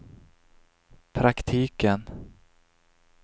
praktiken